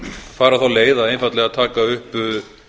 fara þá leið að einfaldlega taka upp